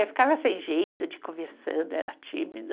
É, ficava sem jeito de ir conversando, era tímida.